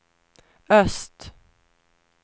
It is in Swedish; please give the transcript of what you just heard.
öst